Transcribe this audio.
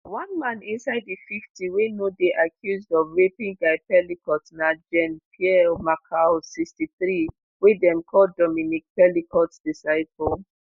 one man inside di 50 wey no dey accused of raping gisèle pelicot na jean-pierre maréchal 63 wey dem call dominique pelicot "disciple".